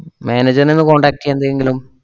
manager നെ ഒന്ന് contact എയ്യാൻ എന്തെങ്കിലും